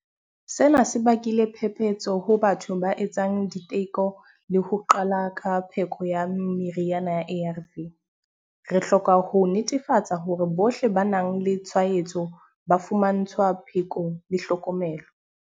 Sena se bakile phephetso ho batho ba etsang diteko le ho qala ka pheko ya meriana ya ARV. Re hloka ho netefatsa hore bohle ba nang le tshwaetso ba fumantshwa pheko le tlhokomelo.